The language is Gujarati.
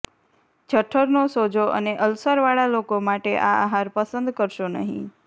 જઠરનો સોજો અને અલ્સરવાળા લોકો માટે આ આહાર પસંદ કરશો નહીં